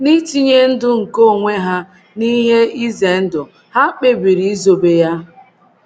N’itinye ndụ nke onwe ha n’ihe ize ndụ, ha kpebiri izobe ya.